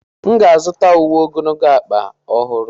M ga-azụta uwe ogologo ọkpa ọhụrụ.